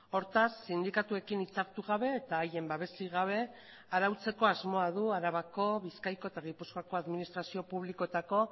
hortaz sindikatuekin hitzartu gabe eta haien babesik gabe arautzeko asmoa du arabako bizkaiko eta gipuzkoako administrazio publikoetako